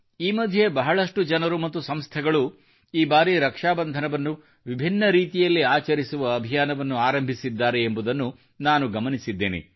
ಈ ಮಧ್ಯೆ ಬಹಳಷ್ಟು ಜನರು ಮತ್ತು ಸಂಸ್ಥೆಗಳು ಈ ಬಾರಿ ರಕ್ಷಾ ಬಂಧನವನ್ನು ವಿಭಿನ್ನ ರೀತಿಯಲ್ಲಿ ಆಚರಿಸುವ ಅಭಿಯಾನವನ್ನು ಆರಂಭಿಸಿದ್ದಾರೆ ಎಂಬುದನ್ನು ನಾನು ಗಮನಿಸಿದ್ದೇನೆ